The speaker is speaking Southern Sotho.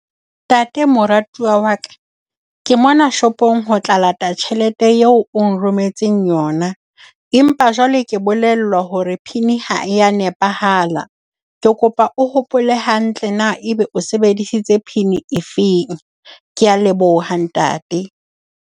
Ntate, moratuwa wa ka. Ke mona shopong ho tla lata tjhelete eo o nrometseng yona. Empa jwale ke bolellwa hore PIN ha e ya nepahala. Ke kopa o hopole hantle na e be o sebedisitse PIN e feng. Ke a leboha, ntate.